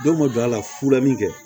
Don ma don a la fula min kɛ